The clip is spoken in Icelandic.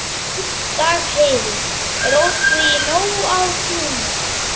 Dagheiður, er opið í Nóatúni?